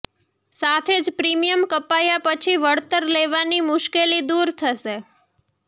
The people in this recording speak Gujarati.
સાથે જ પ્રિમિયમ કપાયા પછી વળતર લેવાની મુશ્કેલી દૂર થશે